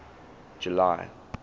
july